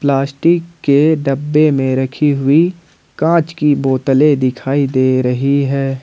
Plastic के डब्बे में रखी हुई कांच की बोतलें दिखाई दे रही है।